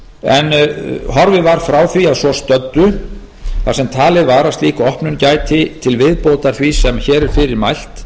en horfið var frá því að svo stöddu þar sem talið var að slík opnun gæti til viðbótar því sem hér er fyrir mælt